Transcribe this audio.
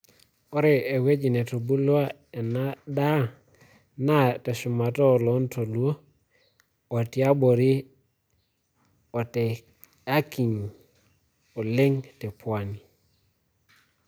Ore ewueji netubulua enaa daa naa teshumata o loo ntoluo o tiabori o teakinyi oleng te Pwani.